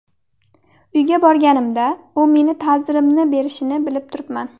Uyga borganimda u meni ta’zirimni berishini bilib turibman.